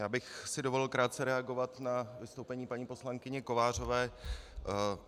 Já bych si dovolil krátce reagovat na vystoupení paní poslankyně Kovářové.